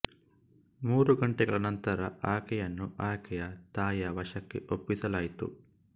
ಮೂರು ಗಂಟೆಗಳ ನಂತರ ಆಕೆಯನ್ನು ಆಕೆಯ ತಾಯಿಯ ವಶಕ್ಕೆ ಒಪ್ಪಿಸಲಾಯಿತು